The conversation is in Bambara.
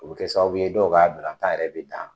O kɛ sababu ye dɔw ka balontan yɛrɛ bɛ dan.